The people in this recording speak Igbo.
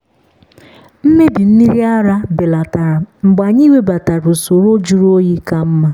mmebi mmiri ara belatara mgbe anyị webatara usoro jụrụ oyi ka mma.